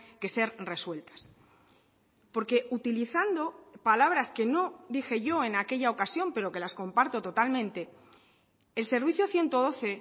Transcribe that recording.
que ser resueltas porque utilizando palabras que no dije yo en aquella ocasión pero que las comparto totalmente el servicio ciento doce